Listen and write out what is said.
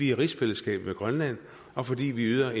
i rigsfællesskab med grønland og fordi vi yder